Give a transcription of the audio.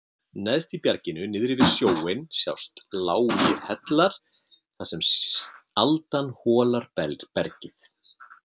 Neðst í bjarginu niðri við sjóinn sjást lágir hellar þar sem aldan holar bergið.